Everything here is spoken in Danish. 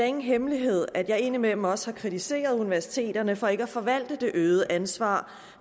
ingen hemmelighed at jeg indimellem også har kritiseret universiteterne for ikke at forvalte det øgede ansvar